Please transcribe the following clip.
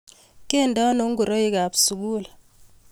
Kende ano ngoroik kap sukul